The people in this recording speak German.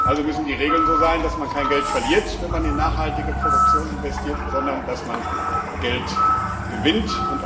Also müssen die Regeln so sein, dass man kein Geld verliert, wenn man in nachhaltige Produktion investiert, sondern dass man Geld gewinnt.